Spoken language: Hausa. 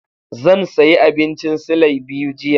Zan sayi abincin silai biyu jiya.